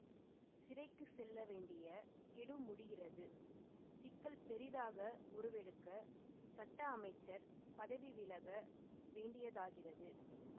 சிறைக்கு செல்ல வேண்டிய கெடு முடிகிறது சிக்கல் பெரிதாக உருவெடுக்க சட்ட அமைச்சர் பதவி விலக வேண்டியதாகிறது